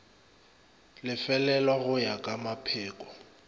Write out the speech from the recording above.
lefelelwa go ya ka mapheko